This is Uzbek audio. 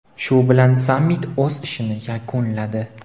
Shu bilan sammit o‘z ishini yakunladi.